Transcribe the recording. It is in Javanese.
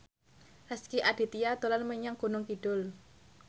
Rezky Aditya dolan menyang Gunung Kidul